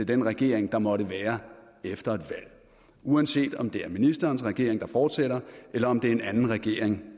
den regering der måtte være efter et valg uanset om det er ministerens regering der fortsætter eller om det er en regering